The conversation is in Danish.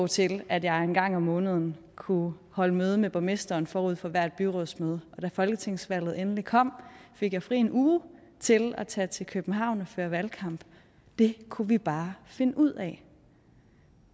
til at jeg en gang om måneden kunne holde møde med borgmesteren forud for hvert byrådsmøde og da folketingsvalget endelig kom fik jeg fri en uge til at tage til københavn og føre valgkamp det kunne vi bare finde ud af